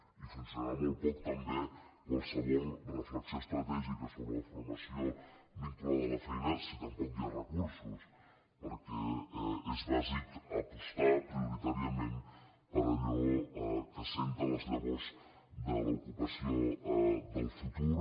i funcionarà molt poc també qualsevol reflexió estratègica sobre la formació vinculada a la feina si tampoc hi ha recursos perquè és bàsic apostar prioritàriament per allò que assenta les llavors de l’ocupació del futur